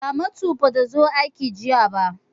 Ramatu ba ta zo aiki jiya ba.